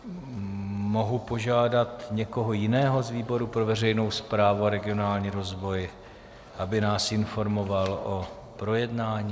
Mohu požádat někoho jiného z výboru pro veřejnou správu a regionální rozvoj, aby nás informoval o projednání?